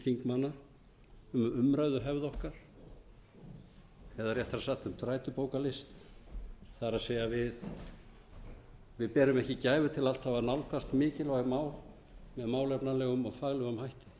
réttara sagt um þrætubókarlist það er við berum ekki gæfu til alltaf að nálgast mikilvæg mál með málefnalegum og faglegum